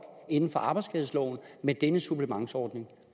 inden for arbejdsskadeloven med denne supplementsordning